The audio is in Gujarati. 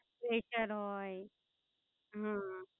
Pressure હોઈ હમ